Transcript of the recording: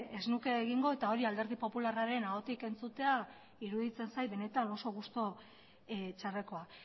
ez nuke egingo eta hori alderdi popularraren ahotik entzutea iruditzen zait benetan oso gustu txarrekoa